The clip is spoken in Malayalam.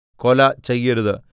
കൊല ചെയ്യരുത്